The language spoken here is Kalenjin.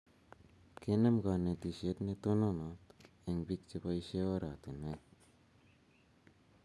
kenem kanetishet ne tonot eng biik che poshe eng' oratinwek